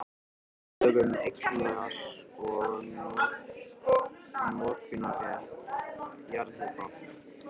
Lög um eignar- og notkunarrétt jarðhita.